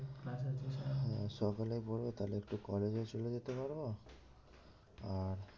আহ সকালে পড়া তাহলে একটু college ও চলে যেতে পারবো আর